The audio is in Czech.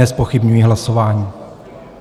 Nezpochybňuji hlasování.